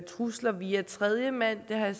trusler via tredjemand jeg har i